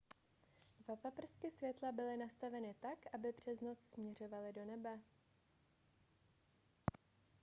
dva paprsky světla byly nastaveny tak aby pře noc směřovaly do nebe